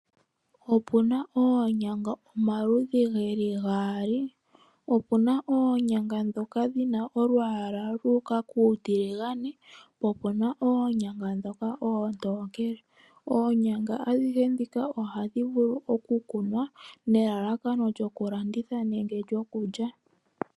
Opu na oonyanga omaludhi ge li gaali. Opu na oonyanga ndhoka dhi na olwaala lu uka kuutiligane, po opu na oonyanga ndhoka oontookele. Oonyanga adhihe ndhika ohadhi vulu okukunwa nelalakano lyokulanditha nenge lyokulya.